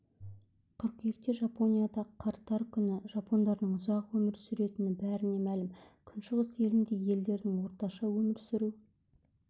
қыркүйекте жапонияда қарттар күні жапондардың ұзақ өмір сүретіні бәріне мәлім күншығыс елінде ерлердің орташа өмір сүру